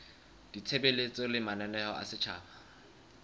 ditshebeletso le mananeo a setjhaba